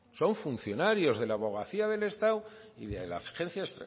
son funcionarios de la abogacía del estado y de la agencia